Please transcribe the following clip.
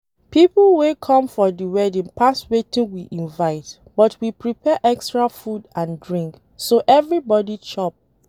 People wey come for the wedding pass wetin we invite but we prepare extra food and drink so everybody chop